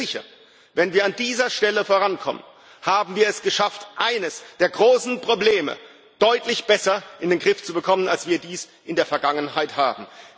Ich bin mir sicher, wenn wir an dieser Stelle vorankommen, haben wir es geschafft, eines der großen Probleme deutlich besser in den Griff zu bekommen, als wir dies in der Vergangenheit haben.